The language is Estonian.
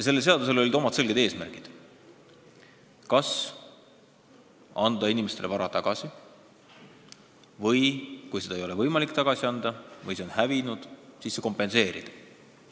Sellel seadusel olid oma selged eesmärgid: kas anda inimestele vara tagasi või kui seda ei ole võimalik tagasi anda, näiteks see on hävinud, siis see kompenseerida.